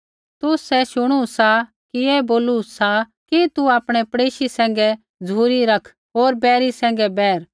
तुसै शुणू सा कि ऐ बोलू सी कि तू आपणै पड़ेशी सैंघै झ़ुरी रखा होर बैरी सैंघै बैर